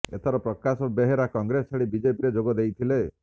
ଏଥର ପ୍ରକାଶ ବେହେରା କଂଗ୍ରେସ ଛାଡ଼ି ବିଜେପିରେ ଯୋଗ ଦେଇଥିଲେ